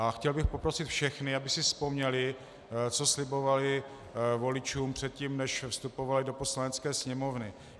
A chtěl bych poprosit všechny, aby si vzpomněli, co slibovali voličům předtím, než vstupovali do Poslanecké sněmovny.